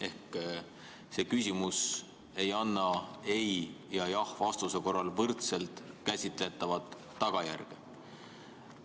Ehk see küsimus ei anna ei‑ ja jah‑vastuse korral võrdselt käsitletavat tagajärge.